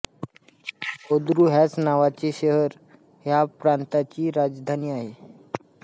Ordu ह्याच नावाचे शहर ह्या प्रांताची राजधानी आहे